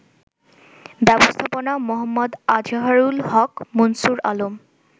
ব্যবস্থাপনা মো. আজহারুল হক, মুনসুর আলম